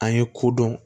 An ye ko dɔn